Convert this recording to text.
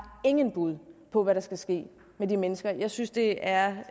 ingen bud på hvad der skal ske med de mennesker jeg synes det er